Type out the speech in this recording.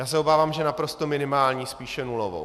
Já se obávám, že naprosto minimální, spíše nulovou.